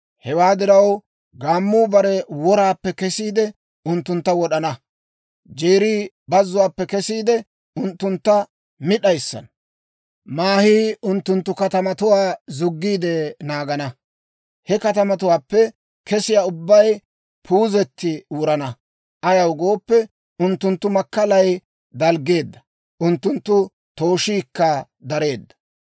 Hewaa diraw, gaammuu bare woraappe kesiide, unttuntta wod'ana. Jeerii bazzuwaappe kesiide, unttunttu mi d'ayissana. Maahii unttunttu katamatuwaa zuggiide naagana. He katamatuwaappe kesiyaa ubbay puuzetti wurana. Ayaw gooppe, unttunttu makkalay dalggeedda; unttunttu tooshiikka dareedda.